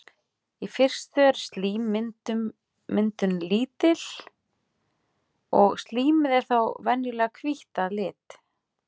Í fyrstu er slímmyndun lítil og slímið er þá venjulega hvítt að lit.